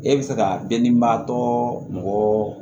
E bɛ fɛ ka bɛn niba tɔ mɔgɔ